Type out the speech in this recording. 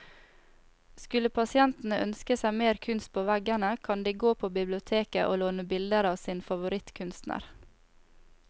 Skulle pasientene ønske seg mer kunst på veggene, kan de gå på biblioteket å låne bilder av sin favorittkunstner.